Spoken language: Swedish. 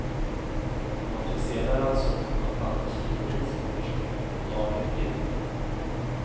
Den officiella ransonen på ett halvt kilo ris per person och dag räcker inte.